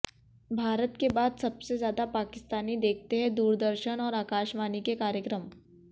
भारत के बाद सबसे ज्यादा पाकिस्तानी देखते हैं दूरदर्शन और आकाशवाणी के कार्यक्रम